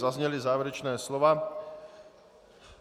Zazněla závěrečná slova.